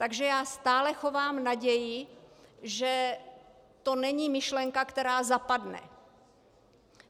Takže já stále chovám naději, že to není myšlenka, která zapadne.